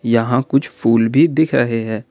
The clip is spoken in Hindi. यहां कुछ फूल भी दिख रहे है।